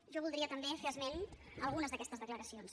jo voldria també fer esment d’algunes d’aquestes declaracions